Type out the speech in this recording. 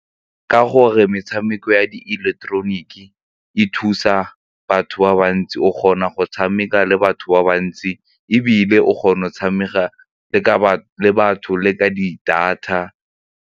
Ka gore metshameko ya di-electronic-ke e thusa batho ba bantsi o kgona go tshameka le batho ba bantsi ebile o kgona go tshameka le batho le ka di-data.